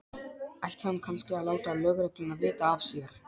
Ætti hann kannski að láta lögregluna vita af sér?